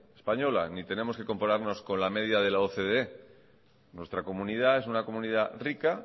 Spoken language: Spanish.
española ni tenemos que compararnos con la media de la ocde nuestra comunidad es una comunidad rica